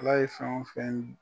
Ala ye fɛn o fɛn